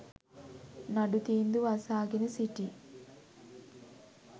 නඩු තීන්දුව අසාගෙන සිටි